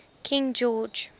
king george